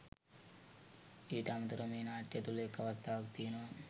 ඊට අමතරව මේ නාට්‍ය තුළ එක් අවස්ථාවක තියෙනවා